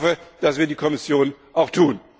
Ich hoffe, das wird die Kommission auch tun.